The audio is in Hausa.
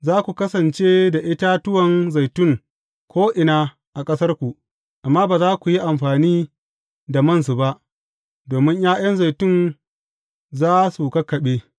Za ku kasance da itatuwan zaitun ko’ina a ƙasarku, amma ba za ku yi amfani da mansu ba, domin ’ya’yan zaitun za su kakkaɓe.